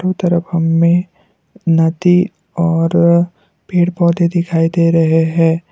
तरफ हमें नदी और पेड़ पौधे दिखाई दे रहे हैं।